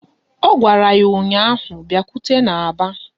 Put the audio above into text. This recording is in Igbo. Ọ gwara ya ụnyaahụ " Bịakwute n'aba"!